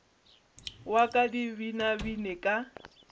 wa ka di binabine ka